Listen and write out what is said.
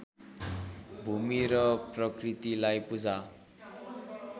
भूमि र प्रकृतिलाई पूजा